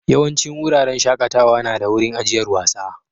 Yawancin wuraren shakatawa na da wurin ajiyar wasa.